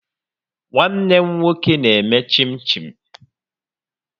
Nwanne m nwoke na-eme chin-chin